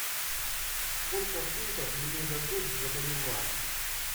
сколько фунтов мне дадут за боливар